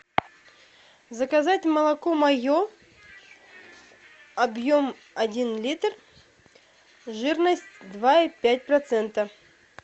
заказать молоко мое объем один литр жирность два и пять процентов